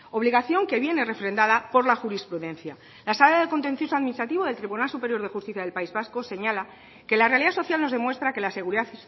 obligación que viene refrendada por la jurisprudencia la sala de lo contencioso administrativo del tribunal superior de justicia del país vasco señala que la realidad social nos demuestra que la seguridad